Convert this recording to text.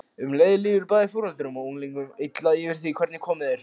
Um leið líður bæði foreldrunum og unglingunum illa yfir því hvernig komið er.